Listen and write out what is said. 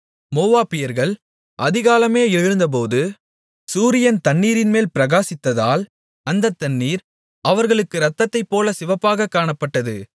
மோவாபியர்கள் அதிகாலமே எழுந்தபோது சூரியன் தண்ணீரின்மேல் பிரகாசித்ததால் அந்தத் தண்ணீர் அவர்களுக்கு இரத்தத்தைப் போல சிவப்பாகக் காணப்பட்டது